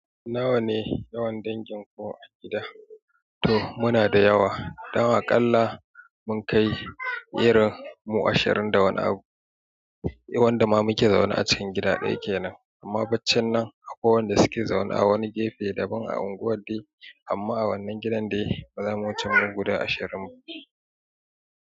Nawa ne yawan dangin ku a gida? To muna da yawa. Dan aƙalla mun kai irin mu ashirin da wani abu. Wanda ma muke zaune a cikin gida ɗaya kenan. Amma bacchan nan akwai wanda suke zaune a wani gefe daban a unguwar dai. Amma a wannan gidan dai, maza mun cikin mu guda ashirin mu.